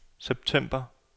september